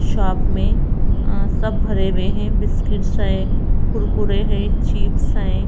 Shop में अ सब भरे हुए हैं बिस्किट्स है कुरकुरे है चिप्स हैं।